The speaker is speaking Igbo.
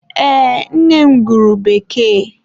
Ee, nne m gụrụ Bekee.